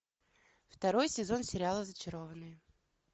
второй сезон сериала зачарованные